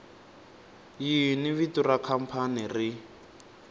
yini vito ra khampani ri